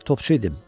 Topçuydum.